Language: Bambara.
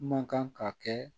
Man kan ka kɛ